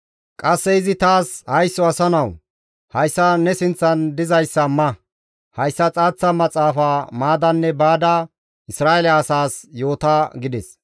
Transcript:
Qasse izi taas, «Haysso asa nawu! Hayssa ne sinththan dizayssa ma; hayssa xaaththa maxaafa maadanne baada Isra7eele asaas yoota» gides.